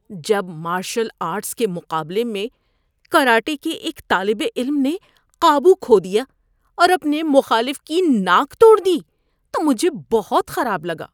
جب martial arts کے مقابلے میں کراٹے کے ایک طالب علم نے قابو کھو دیا اور اپنے مخالف کی ناک توڑ دی تو مجھے بہت خراب لگا۔